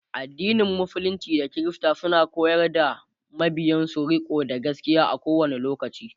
addinin musulunci da kirista suna koyar da mabiyansu rikonda gaskia a kowani lokaci